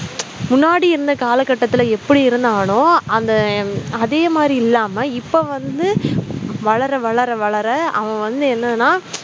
முன்னாடி இருந்த காலகட்டத்தில எப்படி இருந்தானோ அந்த அதே மாதிரி இல்லாம இப்ப வந்து வளர வளர வளர அவன் வந்து என்னன்னா